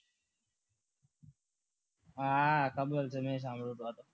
હા ખબર છે મેં સાંભળ્યું હતું